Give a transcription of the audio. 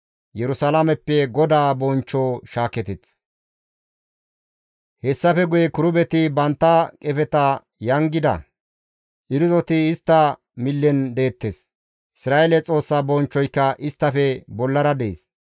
Hessafe guye kirubeti bantta qefeta yangida; irzoti istta millen deettes; Isra7eele Xoossa bonchchoyka isttafe bollara dees.